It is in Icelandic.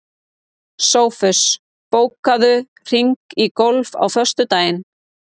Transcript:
Sófus, bókaðu hring í golf á föstudaginn.